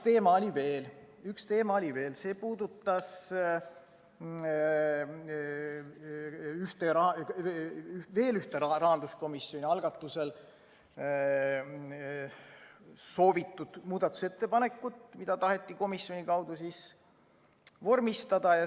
Ahaa, üks teema oli veel, see puudutas veel ühte rahanduskomisjoni soovitud muudatusettepanekut, mida taheti komisjoni kaudu vormistada.